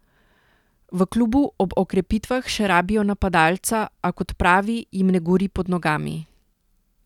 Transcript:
V klubu ob okrepitvah še rabijo napadalca, a kot pravi jim ne gori pod nogami.